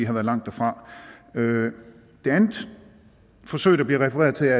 har været langt derfra det andet forsøg der bliver refereret til